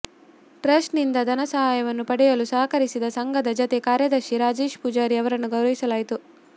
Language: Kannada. ಟ್ರಸ್ಟ್ನಿಂದ ಧನ ಸಹಾಯವನ್ನು ಪಡೆಯಲು ಸಹಕರಿಸಿದ ಸಂಘದ ಜತೆ ಕಾರ್ಯದರ್ಶಿ ರಾಜೇಶ್ ಪೂಜಾರಿ ಅವರನ್ನು ಗೌರವಿಸಲಾಯಿತು